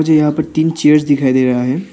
मुझे यहां पे तीन चेयर दिखाई दे रहा है।